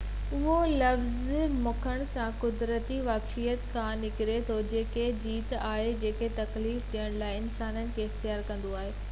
اهو لفظ منگهڻ سان قديمي واقفيت کان نڪري ٿو جيڪي جيت آهن جيڪي تڪليف ڏيڻ لاءِ انسانن کي اختيار ڪندو آهي